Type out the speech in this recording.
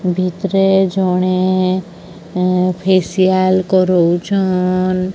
ଭିତରେ ଜଣେ ଏଁ ଫେସିଆଲ କରୁଛନ୍।